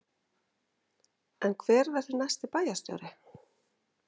En hver verður næsti bæjarstjóri?